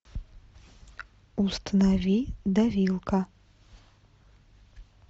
установи давилка